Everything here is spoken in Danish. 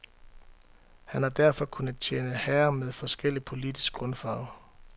Han har derfor kunnet tjene herrer med forskellig politisk grundfarve.